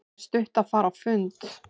Það er stutt að fara á fundi.